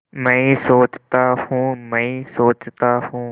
मैं सोचता हूँ मैं सोचता हूँ